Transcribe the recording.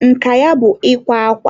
nka ya bụ ikwa akwa.